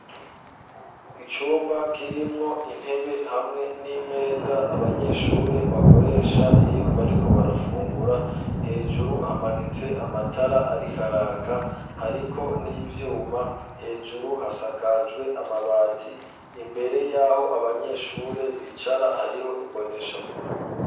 Icumba kirimwo intebe hamwe n'imeza abanyeshure bakoresha iyo bariko barafungura, hejuru hamanitse amatara arikaraka hariko n'ivyuma hejuru hasakajwe amabati imbere y'aho abanyeshure bicara hariho imboneshakure.